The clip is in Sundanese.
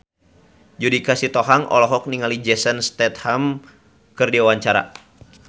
Judika Sitohang olohok ningali Jason Statham keur diwawancara